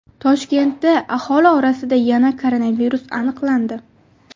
Toshkentda aholi orasida yana koronavirus aniqlandi.